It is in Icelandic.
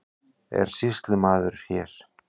Er sýslumaður hér?